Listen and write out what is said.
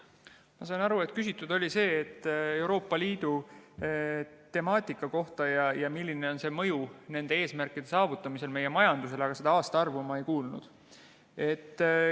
Ma sain aru, et küsiti Euroopa Liidu temaatika kohta ja milline on nende eesmärkide saavutamise mõju meie majandusele, aga seda aastaarvu ma ei kuulnud.